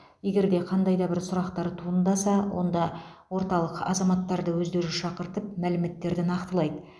егер де қандай да бір сұрақтар туындаса онда орталық азаматтарды өздері шақыртып мәліметтерді нақтылайды